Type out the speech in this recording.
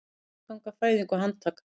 Meðganga, fæðing og handtaka